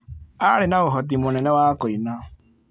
Aarĩ na ũhoti mũnene wa kũina.